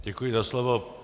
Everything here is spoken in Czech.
Děkuji za slovo.